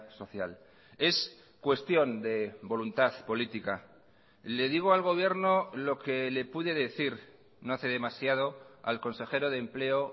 social es cuestión de voluntad política le digo al gobierno lo que le pude decir no hace demasiado al consejero de empleo